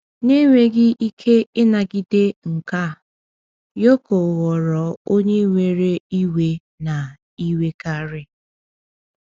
Na enweghị ike ịnagide nke a, Yoko ghọrọ onye nwere iwe na iwekarị.